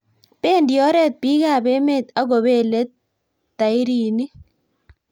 bendi oret bikaap emet agobeel tairinik